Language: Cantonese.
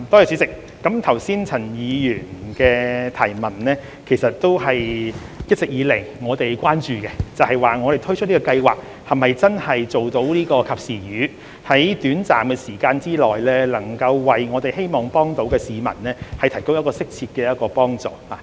主席，陳議員剛才的補充質詢也是我們一直以來所關注的，即推出這項計劃是否真的可以做到"及時雨"，我們希望在短時間內為市民提供適切的幫助。